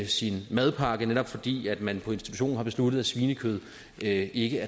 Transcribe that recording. sin madpakke netop fordi man på institutionen har besluttet at svinekød ikke